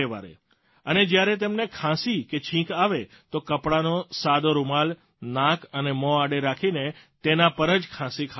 અને જયારે તમને ખાંસી કે છીંક આવે તો કપડાનો સાદો રૂમાલ નાક અને મોં આડે રાખીને તેના પર જ ખાંસી ખાવાની છે